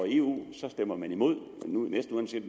eu stemmer man imod næsten uanset